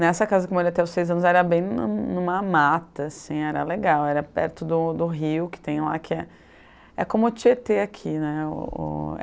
Nessa casa que eu morei até os seis anos, era bem nu numa mata, assim, era legal, era perto do do rio que tem lá, que é, é como o Tietê aqui, né? O é